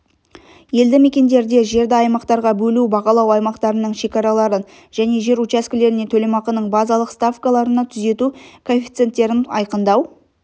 елдімекендерде жерді аймақтарға бөлу бағалау аймақтарының шекараларын және жер учаскелеріне төлемақының базалық ставкаларына түзету коэффициенттерін айқындау